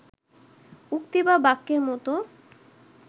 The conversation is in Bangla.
উক্তি বা বাক্যের মতো